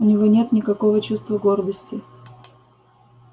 у него нет никакого чувства гордости